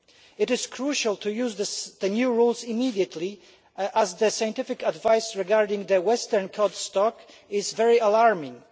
It is crucial to use the new rules immediately, as the scientific advice regarding the western cod stock is very alarming.